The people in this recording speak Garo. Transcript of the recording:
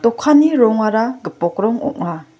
dokanni rongara gipok rong ong·a.